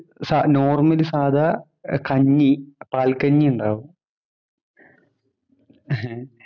Normal‍ സാദാ കഞ്ഞി പാല്‍കഞ്ഞി ഉണ്ടാവും.